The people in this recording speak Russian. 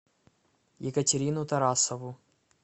екатерину тарасову